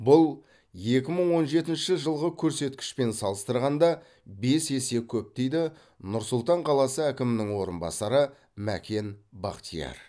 бұл екі мың он жетінші жылғы көрсеткішпен салыстырғанда бес есе көп дейді нұр сұлтан қаласы әкімінің орынбасары мәкен бақтияр